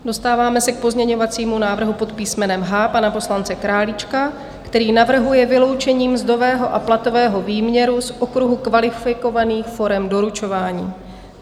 Dostáváme se k pozměňovacímu návrhu pod písmenem H pana poslance Králíčka, který navrhuje vyloučení mzdového a platového výměru z okruhu kvalifikovaných forem doručování.